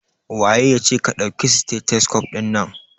Waye yace ka dauki stethoscope din nan?